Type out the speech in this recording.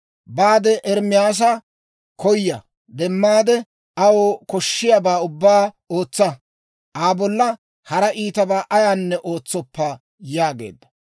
«Baade Ermaasa koya demmaade, aw koshshiyaabaa ubbaa ootsa; Aa bolla hara iitabaa ayaanne ootsoppa» yaageedda.